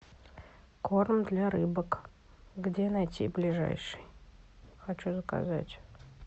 корм для рыбок где найти ближайший хочу заказать